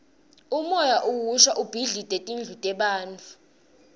umoya uhhusha ubhidlite tindlu tebantfu